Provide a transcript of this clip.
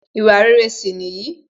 Ìwà rere sì nìyí